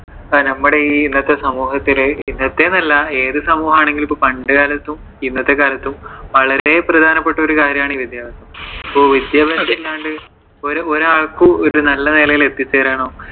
നമ്മുടെ ഈ ഇന്നത്തെ സമൂഹത്തില്, ഇന്നത്തെ എന്ന് അല്ല ഏതു സമൂഹമാണെങ്കിലും ഇപ്പോ പണ്ട് കാലത്തും ഇന്നത്തെ കാലത്തും വളരെ പ്രധാനപ്പെട്ട ഒരു കാര്യമാണ് ഈ വിദ്യാഭ്യാസം. അപ്പൊ വിദ്യാഭ്യാസം ഇല്ലാണ്ട്ഒരാൾക്കും ഒരു നല്ല നിലയിൽ എത്തി ചേരാനോ